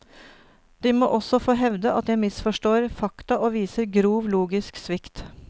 De må også få hevde at jeg misforstår fakta og viser grov logisk svikt.